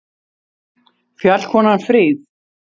Fjallkonan fríð!